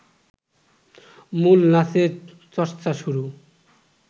মূল নাচের চর্চা শুরু